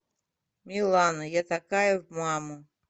милана я такая в маму